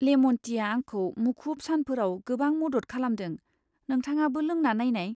Lemon tea आंखौ मुखुब सानफोराव गोबां मदद खालामदों, नोंथाङाबो लोंना नायनाय।